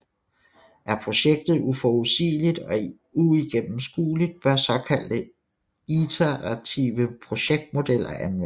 Er projektet uforudsigeligt og uigennemskueligt bør såkaldte iterative projektmodeller anvendes